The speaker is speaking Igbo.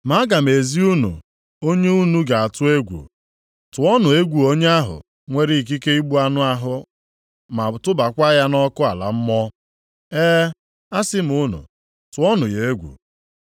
Ma aga m ezi unu onye unu ga-atụ egwu. Tụọnụ egwu Onye ahụ nwere ikike igbu anụ ahụ ma tụbakwa ya nʼọkụ ala mmụọ. E, asị m unu tụọnụ ya egwu.